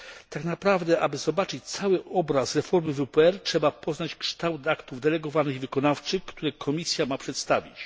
Tak naprawdę, aby zobaczyć cały obraz reformy WPR, trzeba poznać kształt aktów delegowanych i wykonawczych, które Komisja ma przedstawić.